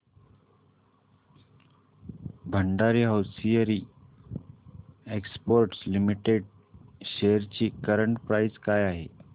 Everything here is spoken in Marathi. Bhandari hosiery exports limited shares ची करंट प्राइस काय आहे